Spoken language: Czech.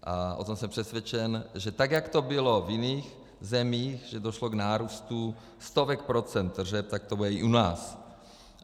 A o tom jsem přesvědčen, že tak jak to bylo v jiných zemích, že došlo k nárůstu stovek procent tržeb, tak to bude i u nás.